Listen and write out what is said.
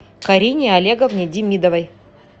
карине олеговне демидовой